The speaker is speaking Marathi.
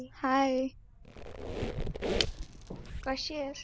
Hi कशी आहेस?